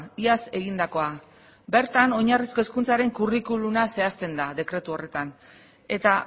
iaz egindakoa bertan oinarrizko hezkuntzaren curriculuma zehazten da dekretu horretan eta